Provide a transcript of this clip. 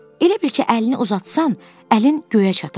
elə bil ki, əlini uzatsan, əlin göyə çatar.